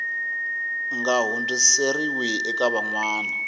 nga hundziseriwi eka van wana